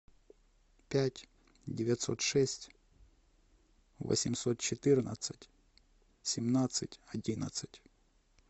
пять девятьсот шесть восемьсот четырнадцать семнадцать одиннадцать